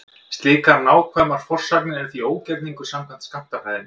Slíkar nákvæmar forsagnir eru því ógerningur samkvæmt skammtafræðinni.